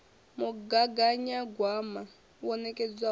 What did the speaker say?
mugaganyagwama wo nekedzwaho na u